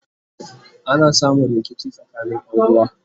ana samun rikici tsakanin Ƴan uwa